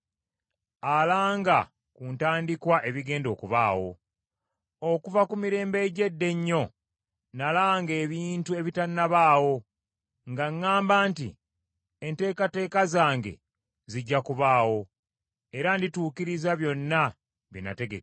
alanga ku ntandikwa ebigenda okubaawo. Okuva ku mirembe egy’edda ennyo, nalanga ebintu ebitannabaawo, nga ŋŋamba nti, ‘Enteekateeka zange zijja kubaawo era ndituukiriza byonna bye nategeka.’